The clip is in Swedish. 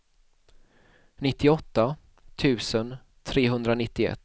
nittioåtta tusen trehundranittioett